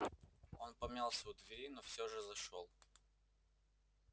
он помялся у двери но все же зашёл